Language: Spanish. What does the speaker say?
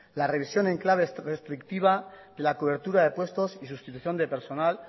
la revisión en clave restrictiva de la cobertura de puestos y sustitución de personal